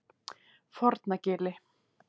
Fornagili